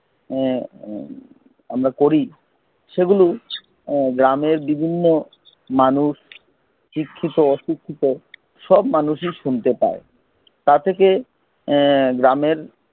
এ আমরা করি সেগুলো গ্রামের বিভিন্ন মানুষ শিক্ষিত অশিক্ষিত সব মানুষের শুনতে পায় তা থেকে এ গ্রামের